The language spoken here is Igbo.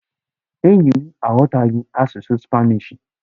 Enyi m aghọtaghị asụsụ spanishi..